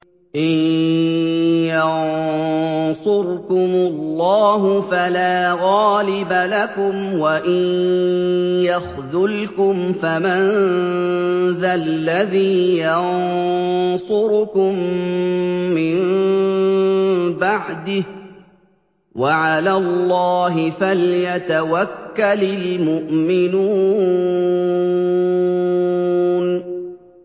إِن يَنصُرْكُمُ اللَّهُ فَلَا غَالِبَ لَكُمْ ۖ وَإِن يَخْذُلْكُمْ فَمَن ذَا الَّذِي يَنصُرُكُم مِّن بَعْدِهِ ۗ وَعَلَى اللَّهِ فَلْيَتَوَكَّلِ الْمُؤْمِنُونَ